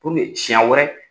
siyɛn wɛrɛ